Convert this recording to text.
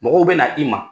Mɔgɔw bɛ na i ma